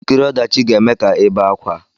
Nkiri ọdachi ga-eme ka ị be akwa